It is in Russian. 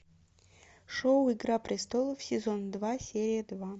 шоу игра престолов сезон два серия два